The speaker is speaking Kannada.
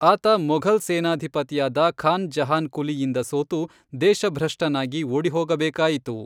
ಆತ ಮೊಘಲ್ ಸೇನಾಧಿಪತಿಯಾದ ಖಾನ್ ಜಹಾನ್ ಕುಲಿಯಿಂದ ಸೋತು, ದೇಶಭ್ರಷ್ಟನಾಗಿ ಓಡಿಹೋಗಬೇಕಾಯಿತು.